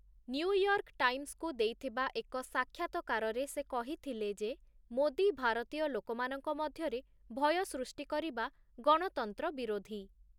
New York ଟାଇମ୍ସକୁ ଦେଇଥିବା ଏକ ସାକ୍ଷାତକାରରେ ସେ କହିଥିଲେ ଯେ, ମୋଦି ଭାରତୀୟ ଲୋକମାନଙ୍କ ମଧ୍ୟରେ ଭୟ ସୃଷ୍ଟି କରିବା ଗଣତନ୍ତ୍ର ବିରୋଧୀ ।